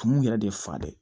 Tumuw yɛrɛ de ye fa dɛ